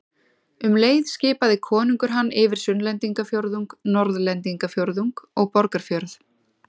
Um leið skipaði konungur hann yfir Sunnlendingafjórðung, Norðlendingafjórðung og Borgarfjörð.